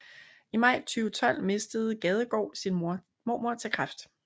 I maj 2012 mistede Gadegaard sin mormor til kræft